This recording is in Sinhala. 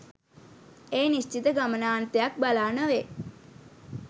ඒ නිශ්චිත ගමනාන්තයක් බලා නොවේ.